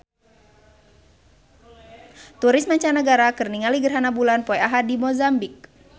Turis mancanagara keur ningali gerhana bulan poe Ahad di Mozambik